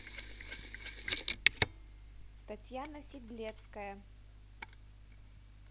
татьяна сидлецкая